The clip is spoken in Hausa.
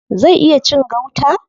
Zai iya cin gauta?